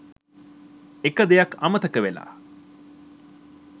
එක දෙයක් අමතක වෙලා